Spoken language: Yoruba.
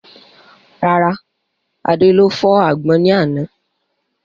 Rárá, Adé ló fọ́ àgbọn ní àná